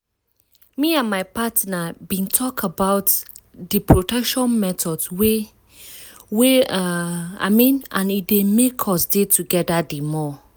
me and my partner been talk about the protection methods wey wey um i mean and e make us dey together the more